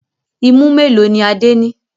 Imú mélòó ni Adé ní?